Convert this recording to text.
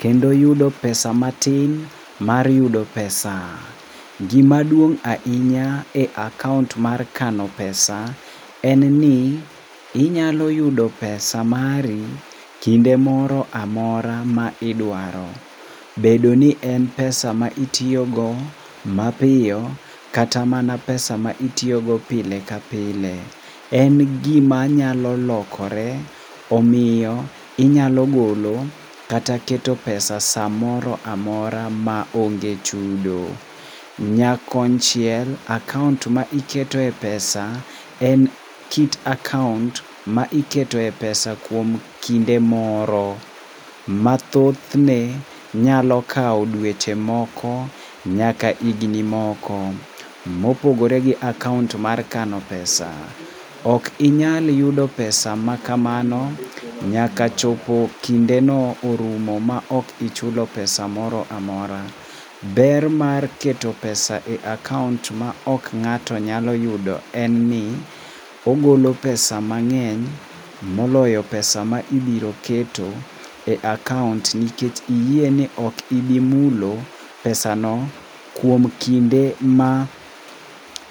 kendo yudo pesa matin mar yudo pesa. Gima duong' ahinya e akaont mar kano pesa [cc] en ni inyalo yudo pesa mari kinde moro amora ma idwaro. Bedo ni en pesa ma itiyogo mapiyo kata mana pesa ma itiyogo pile ka pile. En gima nyalo lokore omiyo inyalo golo, kata keto pesa samoro amora maonge chudo. Nyakonchiel akaont ma iketoe pesa en kit akaont ma iketoe pesa kuom kinde moro, mathothne nyalo kawo dweche moko, nyaka higni moko mopogore gi akaont mar kano pesa. Ok inyal yudo pesa makamano nyaka chop kindeno orumo maok ichulo pesa moro amora. Ber mar keto [cs[pesa e akaont maok ng'ato nyalo yudo en ni ogolo pesa mang'eny moloyo pesa ma ibiro keto e akaont nikech iyie ni ok ibi mulo pesa no kuom kinde ma